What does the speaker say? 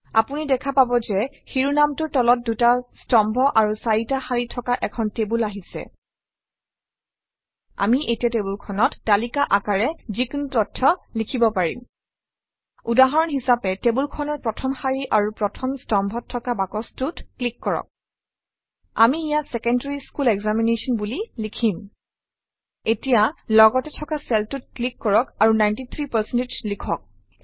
আপুনি দেখা পাব যে শিৰোনামটোৰ তলত দুটা স্তম্ভ আৰু চাৰিটা শাৰী থকা এখন টেবুল আহিছে আমি এতিয়া টেবুলখনত তালিকা আকাৰে যিকোনো তথ্য লিখিব পাৰিম উদাহৰণ হিচাপে টেবুলখনৰ প্ৰথম শাৰী আৰু প্ৰথম স্তম্ভত থকা বাকচটোত ক্লিক কৰক আমি ইয়াত ছেকেণ্ডাৰী স্কুল এক্সামিনেশ্যন বুলি লিখিম এতিয়া লগতে থকা চেলটোত ক্লিক কৰক আৰু 93 লিখক